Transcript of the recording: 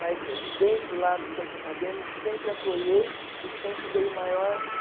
Mas dentro lá do centro acadêmico sempre apoiei e sempre dei o maior